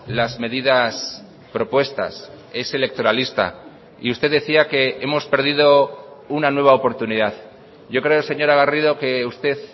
las medidas propuestas es electoralista y usted decía que hemos perdido una nueva oportunidad yo creo señora garrido que usted